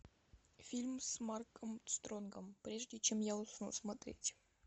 фильм с марком стронгом прежде чем я усну смотреть